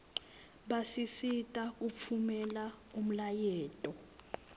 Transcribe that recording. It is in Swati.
basisita kutfumela umlayeto